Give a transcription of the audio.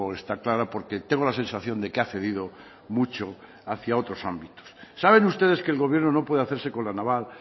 está clara porque tengo la sensación de que ha cedido mucho hacia otros ámbitos saben ustedes que el gobierno no puede hacerse con la naval